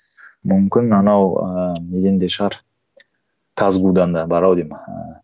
мүмкін анау ыыы неден де шығар казгу дан да бар ау деймін ыыы